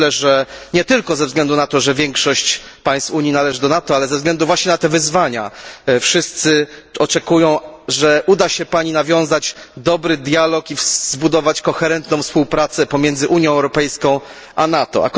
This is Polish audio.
Myślę, że nie tylko ze względu na to, że większość państw Unii należy do NATO, ale ze względu właśnie na te wyzwania wszyscy oczekują, że uda się pani nawiązać dobry dialog i zbudować koherentną współpracę pomiędzy Unią Europejską a NATO.